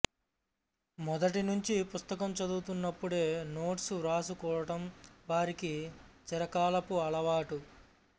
మొదటినుంచీ పుస్తకం చదువుతున్నప్పుడే నోట్సు వ్రాసుకోటం వారికి చిరకాలపు అలవాటు